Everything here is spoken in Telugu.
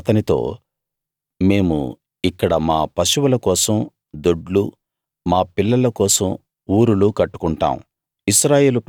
అందుకు వారు అతనితో మేము ఇక్కడ మా పశువుల కోసం దొడ్లూ మా పిల్లల కోసం ఊరులూ కట్టుకుంటాం